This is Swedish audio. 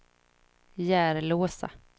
Järlåsa